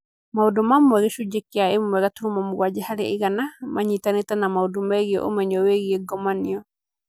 Maũndũ mamwe gĩcunjĩ kĩa 1.7% harĩ igana maanyitanĩte na maũndũ megiĩ ũmenyo wĩgiĩ ngomanio.